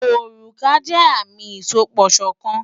Òrùka jẹ́ àmì ìsopọ̀ṣọ̀kan.